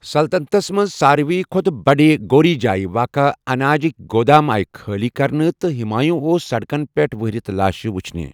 سلطنتس منز سارِوٕے كھو٘تہٕ بٕڈِ گوری جایہِ واقع اناجٗكہِ گٗدام آیہ خٲلی كرنہٕ ،تہٕ ہٗمایوُں آو سڈكن پیٹھ وہرِتھ لاشہِ وٗچھنہِ ۔